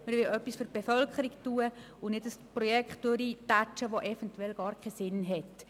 Wir wollen etwas für die Bevölkerung tun und nicht ein Projekt durchboxen, das eventuell gar keinen Sinn macht.